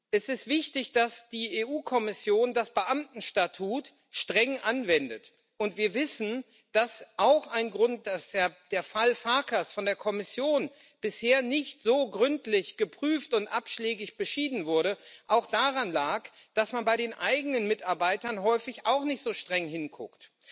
Es ist wichtig, dass die EU Kommission das Beamtenstatut streng anwendet, und wir wissen, dass ein Grund dafür, dass der Fall Farkas von der Kommission bisher nicht so gründlich geprüft und abschlägig beschieden wurde, auch darin lag, dass man bei den eigenen Mitarbeitern häufig auch nicht so streng hinguckt.